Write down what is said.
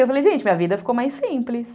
Eu falei, gente, minha vida ficou mais simples.